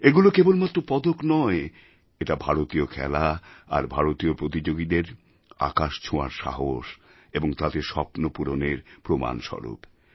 এগুলো কেবলমাত্র পদক নয় এটা ভারতীয় খেলা আর ভারতীয় প্রতিযোগীদের আকাশ ছোঁয়ার সাহস এবং তাঁদের স্বপ্নপূরণের প্রমাণস্বরূপ